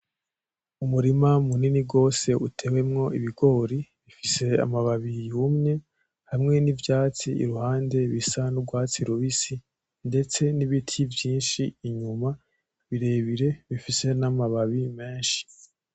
Umurima munini rwose utewemwo ibigori, bifise amababi yumye hamwe n'ivyatsi iruhande bisa n'urwatsi rubisi, ndetse n'ibiti vyinshi inyuma birebire bifise n'amababi menshi.